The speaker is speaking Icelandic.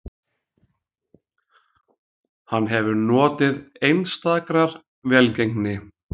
Hann hefur notið einstakrar velgengni